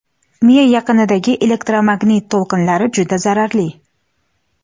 miya yaqinidagi elektromagnit to‘lqinlar juda zararli.